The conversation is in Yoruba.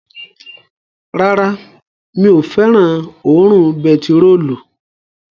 Rárá, mi ò fẹ́ràn òórùn bentiróòlù